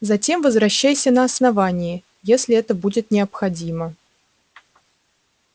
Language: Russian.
затем возвращайся на основание если это будет необходимо